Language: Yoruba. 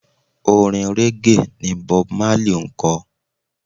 Orin régè ni Bob Marley máa ń ko.